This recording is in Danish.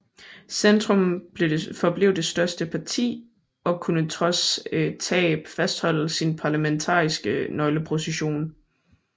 Centrum forblev det største parti og kunne trods tab fastholde sin parlamentariske nøgleposition